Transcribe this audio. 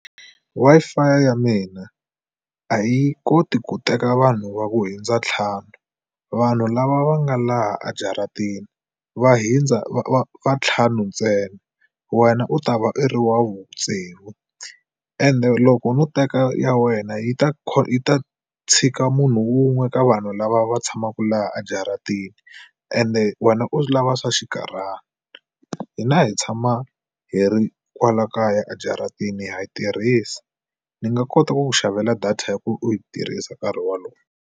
Wi-Fi ya mina a yi koti ku teka vanhu va ku hundza ntlhanu. Vanhu lava va nga laha a jaratini va hundza va va vantlhanu ntsena wena u ta va i ri wa vutsevu ende loko no teka ya wena yi ta yi ta tshika munhu un'we ka vanhu lava va tshamaka laha a jaratini ende wena u lava swa xinkarhana. Hina hi tshama hi ri kwala kaya a jaratini ha yi tirhisa ni nga kota ku ku xavela data ya ku u yi tirhisa nkarhi wolowo.